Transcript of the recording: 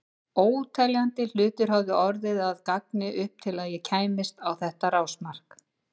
Óteljandi hlutir höfðu orðið að ganga upp til að ég kæmist á þetta rásmark.